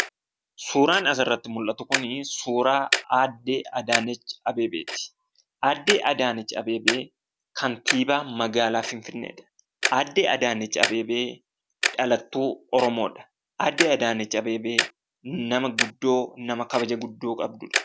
Suuraan asirratti mul'atu kun suuraa Aadde Adaanech Abeebeeti. Aadde Adaanech Abeebee, Kantiibaa magaalaa Finfinneeti. Aaddee Adaanech Abeebee dhalattuu Oromoodha. Aaddee Adaanech Abeebee nama guddoo nama kabaja guddoo qabdudha.